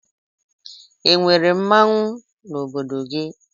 E nwere mmanwụ n'obodo gị?